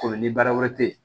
Komi ni baara wɛrɛ te yen